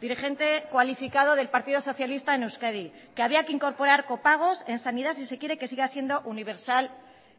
dirigente cualificado del partido socialista en euskadi que había que incorporar copagos en sanidad si se quiere que siga siendo universal